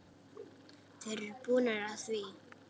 Þeir eru búnir að því.